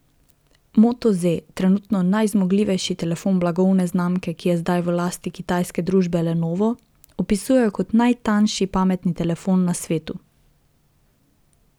Moto Z, trenutno najzmogljivejši telefon blagovne znamke, ki je zdaj v lasti kitajske družbe Lenovo, opisujejo kot najtanjši pametni mobilni telefon na svetu.